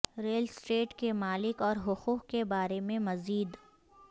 rail estate کے مالک اور حقوق کے بارے میں مزید